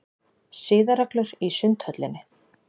SIÐAREGLUR í Sundhöllinni.